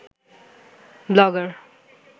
blogger